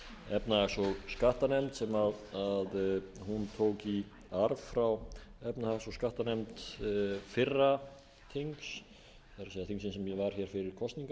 efnahags og skattanefnd sem hún tók í arf frá efnahags og skattanefnd fyrra þings það er þingsins sem var hér fyrir kosningar